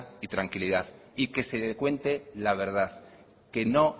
y tranquilidad y que se cuente la verdad que no